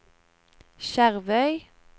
Skjervøy